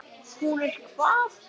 Hún er hvað.